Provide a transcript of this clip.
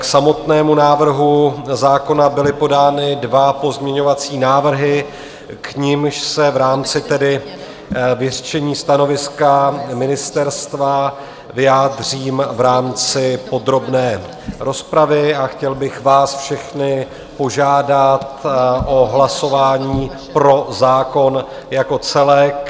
K samotnému návrhu zákona byly podány dva pozměňovací návrhy, k nimž se v rámci tedy vyřčení stanoviska ministerstva vyjádřím v rámci podrobné rozpravy, a chtěl bych vás všechny požádat o hlasování pro zákon jako celek.